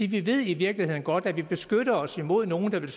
vi ved i virkeligheden godt at vi beskytter os imod nogle der vil